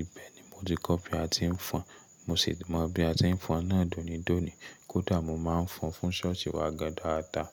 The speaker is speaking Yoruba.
Ìbẹ̀ ni mo ti kọ́ bí a ti ń fọn, mo sì mọ bí a ti ń fọn náà dónidòní. Kódà mo máa ń fọn fún ṣọ́ọ̀ṣì wa gan dáadáa.